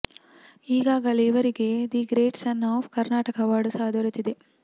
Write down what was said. ಈಗಾಗಲೇ ಇವರಿಗೆ the great son of Karnataka award ಸಹ ದೊರೆತಿದೆ